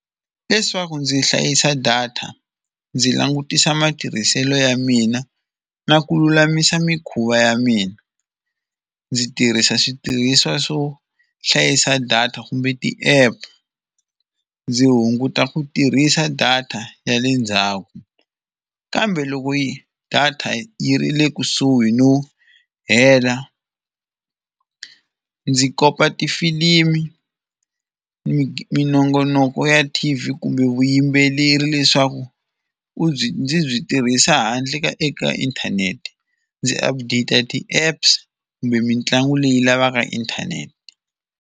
Leswaku ndzi hlayisa data ndzi langutisa matirhiselo ya mina na ku lulamisa mikhuva ya mina, ndzi tirhisa switirhisiwa swo hlayisa data kumbe ti-app ndzi hunguta ku tirhisa data ya le ndzhaku. Kambe loko yi data yi ri le kusuhi no hela ndzi kopa tifilimi, minongonoko ya T_V kumbe vuyimbeleri leswaku u byi ndzi byi tirhisa handle ka eka inthanete, ndzi update ti-apps kumbe mitlangu leyi lavaka inthanete.